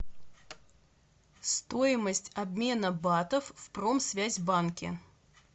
стоимость обмена батов в промсвязьбанке